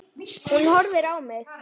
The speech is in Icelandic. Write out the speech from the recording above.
Hún horfir á mig.